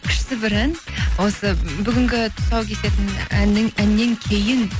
күшті бір ән осы бүгінгі тұсаукесердің әннен кейін